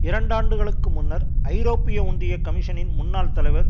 இரண்டாண்டுகளுக்கு முன்னர் ஐரோப்பிய ஒன்றிய கமிஷனின் முன்னாள் தலைவர்